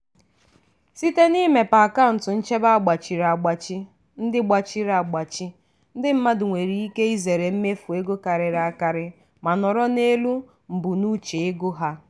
site n'imepe akaụntụ nchebe a gbachiri agbachi ndị gbachiri agbachi ndị mmadụ nwere ike izere mmefu ego karịrị akarị ma nọrọ n'elu mbunuche ego ha.